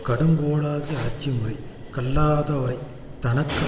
கடுங்கோலாகிய ஆட்சி முறை கல்லாதவரைத் தனக்கு